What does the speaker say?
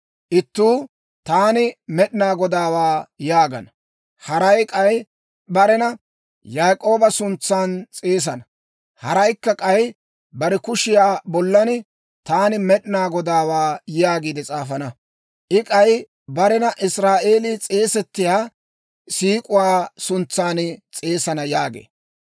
Ittuu, ‹Taani Med'inaa Godaawaa› yaagana; haray k'ay barena Yaak'ooba suntsan s'eesana; haraykka, k'ay bare kushiyaa bollan, ‹Taani Med'inaa Godaawaa› yaagiide s'aafana; I k'ay barena Israa'eelii s'eesettiyaa siik'uwaa suntsan s'eesana» yaagee.